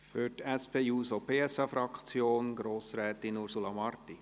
Für die SP-JUSO-PSA-Fraktion: Grossrätin Ursula Marti.